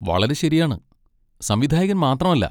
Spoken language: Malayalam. വളരെ ശരിയാണ്, സംവിധായകൻ മാത്രമല്ല.